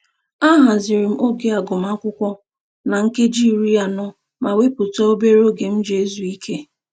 Ahaziri m oge agụmakwụkwọ na nkeji iri anọ ma wepụta obere oge m ji ezu ike